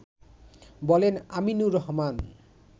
বলেন আমিনুর রহমান